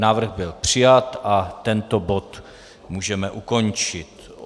Návrh byl přijat a tento bod můžeme ukončit.